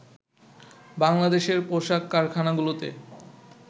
বাংলাদেশের পোশাক কারখানাগুলোতে